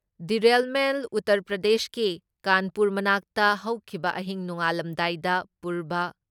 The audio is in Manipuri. ꯗꯤꯔꯦꯜꯃꯦꯟ ꯎꯇꯔ ꯄ꯭ꯔꯗꯦꯁꯀꯤ ꯀꯥꯟꯄꯨꯔ ꯃꯅꯥꯛꯇ ꯍꯧꯈꯤꯕ ꯑꯍꯤꯡ ꯅꯣꯡꯉꯥꯜꯂꯝꯗꯥꯏꯗ ꯄꯨꯔꯚ